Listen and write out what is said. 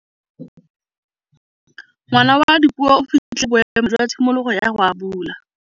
Ngwana wa Dipuo o fitlhile boêmô jwa tshimologô ya go abula.